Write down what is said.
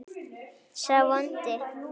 sá vondi